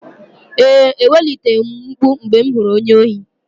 Ee, eweliteghị m mkpu mgbe m hụrụ onye ohi.